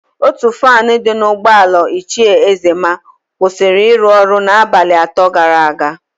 Ótù faanụ dị n'ụgbọala Ichie Ezema kwụsịrị ịrụ ọrụ n'abalị atọ gara aga.